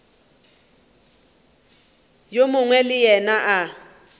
yo mongwe le yena a